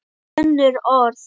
Önnur orð.